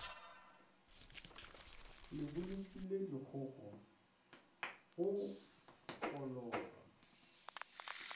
le bolokile dikgogo go dikologa